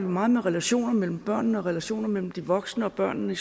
meget med relationer mellem børnene og relationer mellem de voksne og børnene